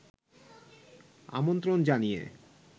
আমন্ত্রণ জানিয়ে